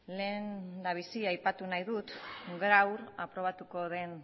lehendabizi aipatu nahi dut gaur aprobatuko den